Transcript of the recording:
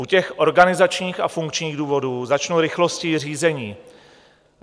U těch organizačních a funkčních důvodů začnu rychlostí řízení.